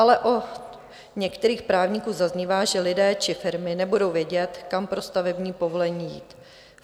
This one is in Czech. Ale od některých právníků zaznívá, že lidé či firmy nebudou vědět, kam pro stavební povolení jít.